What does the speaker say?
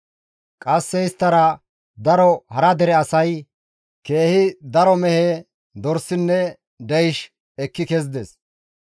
Qasse isttara daro hara dere asay, keehi daro mehe, dorsinne deysh ekki kezides.